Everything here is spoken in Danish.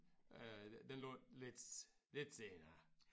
Øh den lå lidt lidt senere